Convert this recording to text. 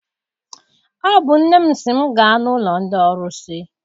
Ọ bụ nne m sị m gaa n'ụlọ ndị ọrụsị.